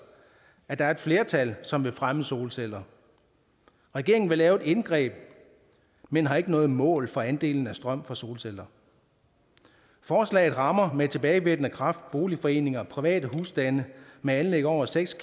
at der er et flertal som vil fremme solceller regeringen vil lave et indgreb men har ikke noget mål for andelen af strøm fra solceller forslaget rammer med tilbagevirkende kraft boligforeninger private husstande med anlæg over seks